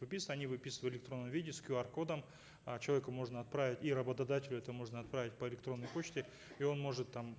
выписывать они выписывают в электронном виде с кюар кодом э человеку можно отправить и работодателю это можно отправить по электронной почте и он может там